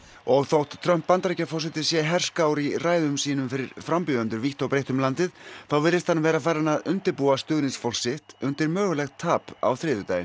og þótt Trump Bandaríkjaforseti sé herskár í ræðum sínum fyrir frambjóðendur vítt og breitt um landið þá virðist hann vera farinn að undirbúa stuðningsfólk sitt undir mögulegt tap á þriðjudaginn